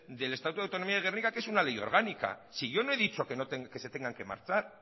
del estatuto de autonomía de gernika que es una ley orgánica si yo no he dicho que se tengan que marchar